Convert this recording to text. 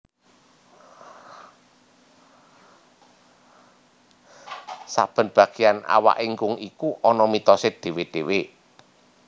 Saben bageyan awak ingkung iku ana mitosé dhéwé dhéwé